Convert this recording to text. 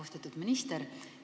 Austatud minister!